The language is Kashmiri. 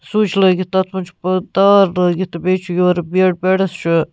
سُچ لٲگِتھ تَتھ منٛزچُھ پ تار لٲگِتھ تہٕ بیٚیہِ چُھ یورٕ بیڈ بیڈس چُھ